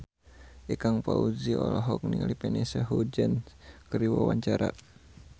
Ikang Fawzi olohok ningali Vanessa Hudgens keur diwawancara